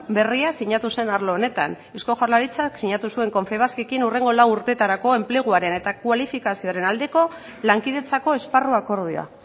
berria sinatu zen arlo honetan eusko jaurlaritzak sinatu zuen confebaskekin hurrengo lau urtetarako enpleguaren eta kualifikazioaren aldeko lankidetzako esparru akordioa